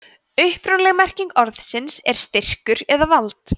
upprunaleg merking orðsins er styrkur eða vald